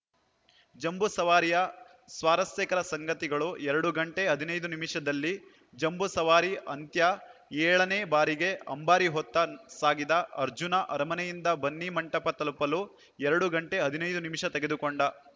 ಜಂಬೂ ಸವಾರಿಯ ಸ್ವಾರಸ್ಯಕರ ಸಂಗತಿಗಳು ಎರಡು ಗಂಟೆ ಹದಿನೈದು ನಿಮಿಷದಲ್ಲಿ ಜಂಬೂ ಸವಾರಿ ಅಂತ್ಯ ಏಳನೇ ಬಾರಿಗೆ ಅಂಬಾರಿ ಹೊತ್ತು ಸಾಗಿದ ಅರ್ಜುನ ಅರಮನೆಯಿಂದ ಬನ್ನಿಮಂಟಪ ತಲುಪಲು ಎರಡು ಗಂಟೆ ಹದಿನೈದು ನಿಮಿಷ ತೆಗೆದುಕೊಂಡ